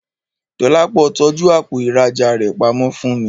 Dọlápọ̀ tọ́jú àpò ìrajà rẹ pamọ́ fún mi